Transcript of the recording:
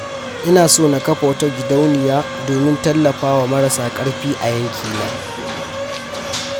Ina so na kafa wata gidauniya domin tallafa wa marasa ƙarfi a yankina.